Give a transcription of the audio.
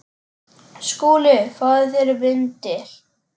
SKÚLI: Fáðu þér vindil.